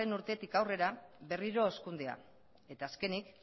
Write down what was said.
urtetik aurrera berriro hazkundea eta azkenik